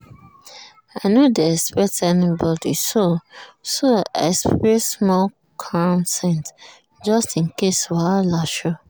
i no dey expect anybody so so i spray small calm scent just in case wahala show.